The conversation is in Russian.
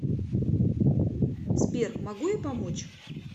сбер могу я помочь